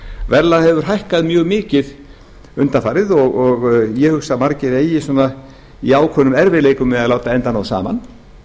verðlag hefur hækkað mjög mikið undanfarið og ég hugsa að margir eigi í ákveðnum erfiðleikum með að láta enda ná saman